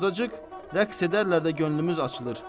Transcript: Bəyim, azacıq rəqs edərlər də, könlümüz açılır.